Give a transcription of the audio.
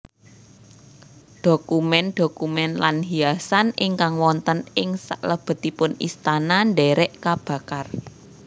Dhokumén dhokumén lan hiasan ingkang wonten ing salebetipun istana ndhèrèk kabakar